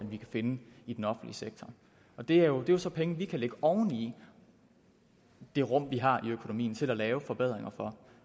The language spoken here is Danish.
vi kan finde i den offentlige sektor og det er jo så penge vi kan lægge oven i det rum vi har i økonomien til at lave forbedringer for